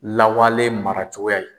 Lawalen maracogoya ye.